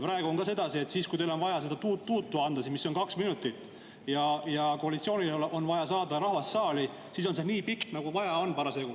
Praegu on ka sedasi, et siis, kui teil on vaja seda tuut‑tuutu anda, mis on kaks minutit, ja koalitsioonil on vaja saada rahvas saali, siis on see nii pikk, nagu parasjagu vaja on.